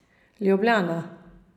Ljubljana.